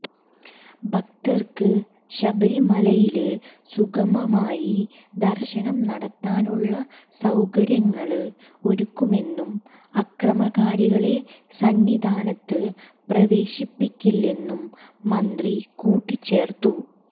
ഭക്തര്ക്ക് ശബരിമലയില് സുഖമമായി ദര്ശനം നടത്താനുള്ള സൌകര്യങ്ങള് ഒരുക്കുമെന്നും അക്രമകാരികളെ സന്നിധാനത്ത് പ്രവേശിപ്പിക്കില്ലെന്നും മന്ത്രി കൂട്ടിച്ചേര്ത്തു